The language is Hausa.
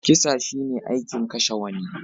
Kisa shi ne aikin kashe wani.